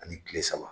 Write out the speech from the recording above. Ani kile saba